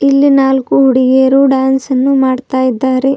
ಇಲ್ಲಿ ನಾಲ್ಕು ಹುಡುಗಿಯರು ಡಾನ್ಸ್ ಅನ್ನು ಮಾಡುತ್ತಾ ಇದ್ದಾರೆ.